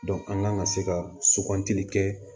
an kan ka se ka sugantili kɛ